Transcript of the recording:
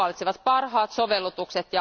He valitsevat parhaat sovellutukset.